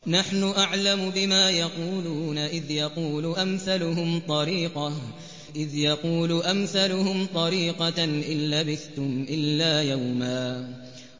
نَّحْنُ أَعْلَمُ بِمَا يَقُولُونَ إِذْ يَقُولُ أَمْثَلُهُمْ طَرِيقَةً إِن لَّبِثْتُمْ إِلَّا يَوْمًا